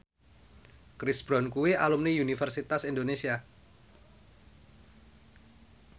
Chris Brown kuwi alumni Universitas Indonesia